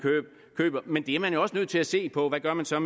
køber men der er man jo også nødt til at se på hvad man så